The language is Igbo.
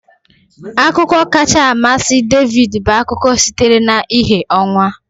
Akụkọ kacha amasị David bụ akụkọ sitere na ìhè ọnwa